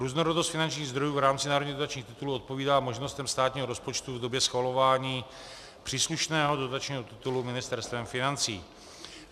Různorodost finančních zdrojů v rámci národních dotačních titulů odpovídá možnostem státního rozpočtu v době schvalování příslušného dotačního titulu Ministerstvem financí.